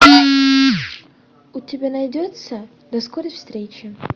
у тебя найдется до скорой встречи